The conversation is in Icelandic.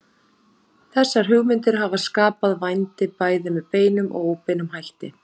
Þessar hugmyndir hafa skapað vændi bæði með beinum og óbeinum hætti.